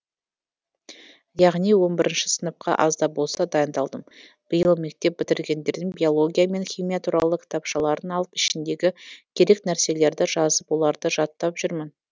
яғни он бірінші сыныпқа азда болса дайындалдым биыл мектеп бітіргендердің биология мен химия туралы кітапшаларын алып ішіндегі керек нәрселерді жазып оларды жаттап жүрмін